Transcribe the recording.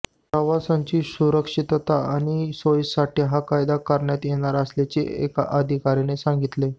प्रवाशांची सुरक्षितता आणि सोयीसाठी हा कायदा करण्यात येणार असल्याचे एका अधिकाऱ्याने सांगितले